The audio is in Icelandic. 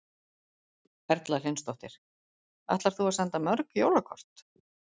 Erla Hlynsdóttir: Ætlar þú að senda mörg jólakort?